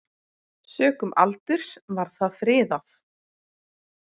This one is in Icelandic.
Sökum aldurs var það friðað.